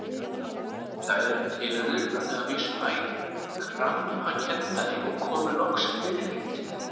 Þær tilraunir urðu að vísu æ krampakenndari og komu loks fyrir lítið.